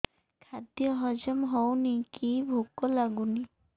ଖାଦ୍ୟ ହଜମ ହଉନି କି ଭୋକ ଲାଗୁନି